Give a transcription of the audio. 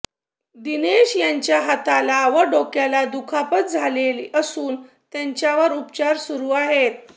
दिनेश याच्या हाताला व डोक्याला दुखापत झाले असून त्याच्यावर उपचार सुरू आहेत